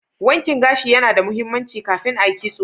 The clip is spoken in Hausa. Wankin gashi ya na da mahimmanci ka kin a Yi kitso